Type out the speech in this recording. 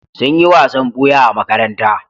Sun yi wasan ɓuya a makaranta.